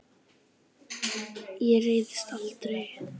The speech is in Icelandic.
Ég reiðist aldrei.